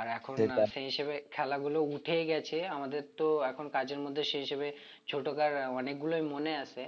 আর এখন সে হিসেবে খেলা গুলো উঠেই গেছে আমাদের তো এখন কাজের মধ্যে সেই হিসেবে ছোটোকার অনেকগুলোই মনে আছে